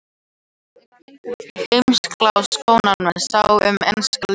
Heimsklassa sóknarmaður sá um enska liðið.